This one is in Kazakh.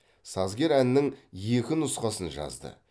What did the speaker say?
сазгер әннің екі нұсқасын жазды